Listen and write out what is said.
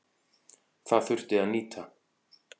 Það þurfi að nýta.